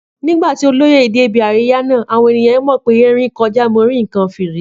Nígbà tí olóyè dé ibi àríyá náà, àwọn ènìyàn mọ̀ pé erin kọjá mo rí nǹkan fìrí